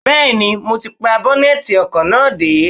Bẹẹni, mo ti pa bọ́nẹ́tì ọkọ̀ náà dé.